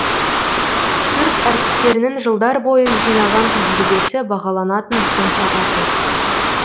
цирк әртістерінің жылдар бойы жинаған тәжірибесі бағаланатын сын сағаты